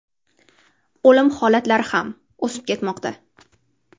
O‘lim holatlari ham o‘sib ketmoqda!